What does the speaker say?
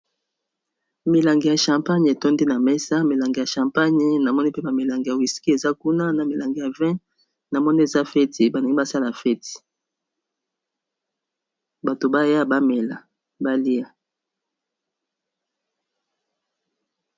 Milangi ya champagne etondi na mesa